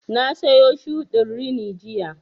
Na sayo shuɗin rini jiya